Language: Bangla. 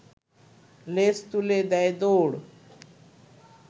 লেজ তুলে দেয় দৌড়